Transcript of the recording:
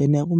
eniaku me.